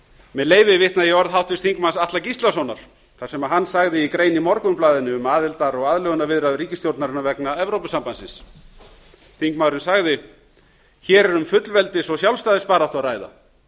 með leyfi vitna ég í orð háttvirts þingmanns atla gíslasonar þar sem hann sagði í grein í morgunblaðinu um aðildar og aðlögunarviðræður ríkisstjórnarinnar vegna evrópusambandsins þingmaðurinn sagði hér er um fullveldis og sjálfstæðisbaráttu að ræða